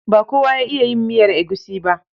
Ba kowa ya iya yin miyar egusi ba.